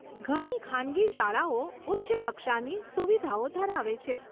ઘણી ખાનગી શાળાઓ ઉચ્ચ કક્ષાની સુવિધાઓ ધરાવે છે.